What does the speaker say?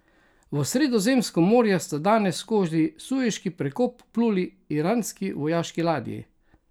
V Sredozemsko morje sta danes skozi Sueški prekop vpluli iranski vojaški ladji.